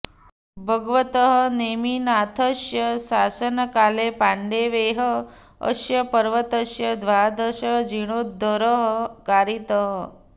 भग्वतः नेमिनाथस्य शासनकाले पाण्डवैः अस्य पर्वतस्य द्वादशः जीर्णोद्धरः कारितः